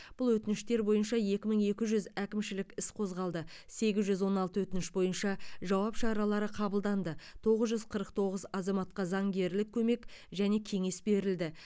бұл өтініштер бойынша екі мың екі жүз әкімшілік іс қозғалды сегіз жүз он алты өтініш бойынша жауап шаралары қабылданды тоғыз жүз қырық тоғыз азаматқа заңгерлік көмек және кеңес берілді